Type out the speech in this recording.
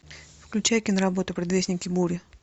включай киноработу предвестники бури